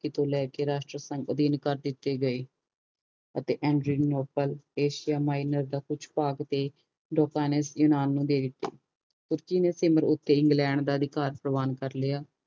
ਅਧੀਨ ਕਰ ਦਿਤੇ ਗਏ ਅਤੇ ਇੰਜਰੇਲ ਮੋਫੈਲ ਏਸੀਆ ਮਾਹਿਨਸ ਦਾ ਕੁਝ ਭਾਗ ਤੇ ਲੋਕ ਨੇ ਯੂਨਾਨ ਨੂੰ ਦੇ ਦਿਤਾ ਇੰਗਲੈਂਡ ਦਾ ਅਧਿਕਾਰ ਪਰਿਵਾਨ ਕਰ ਲਿਆ